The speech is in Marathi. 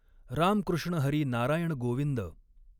राम कृष्ण हरी नारायण गॊविंद.